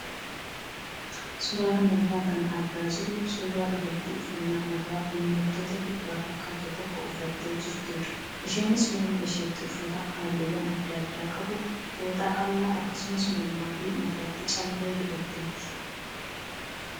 Suuraa kanarraa kan argaa jirru suuraa dubartii uffannaa aadaa uummattoota kibbaa fakkaatu tokko uffattee jirtudha. Isheenis morma isheetti uffata halluuwwan adda addaa qabu fooxaa qal'aa akkasumas mormaa fi mataatti callee hidhaatteetti.